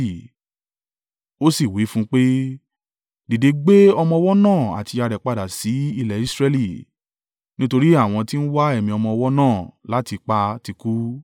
Ó sì wí fún un pé, “Dìde gbé ọmọ ọwọ́ náà àti ìyá rẹ̀ padà sí ilẹ̀ Israẹli, nítorí àwọn tí ń wá ẹ̀mí ọmọ ọwọ́ náà láti pa ti kú.”